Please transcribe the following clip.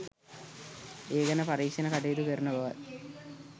ඒ ගැන පරීක්ෂණ කටයුතු කරන බවත්